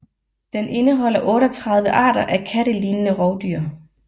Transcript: Den indeholder 38 arter af kattelignende rovdyr